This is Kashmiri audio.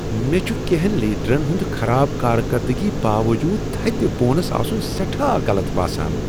مےٚ چھ کینٛہن لیڈرن ہنٛد خراب کارکردگی باوجود تھٔدِ بونس آسٕنۍ سٮ۪ٹھاہ غلط باسان۔